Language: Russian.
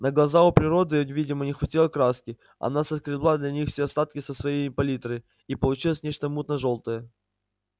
на глаза у природы видимо не хватило краски она соскребла для них все остатки со своей палитры и получилось нечто мутно-жёлтое